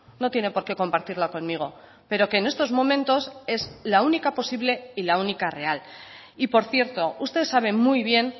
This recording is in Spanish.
no tiene por qué compartirla conmigo pero que en estos momentos es la única posible y la única real y por cierto usted sabe muy bien